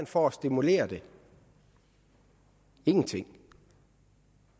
for at stimulere det ingenting